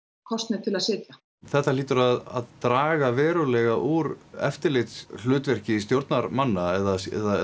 kosnir til að sitja þetta hlýtur að draga verulega úr eftirlitshlutverki stjórnarmanna eða